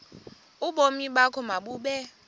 ubomi bakho mabube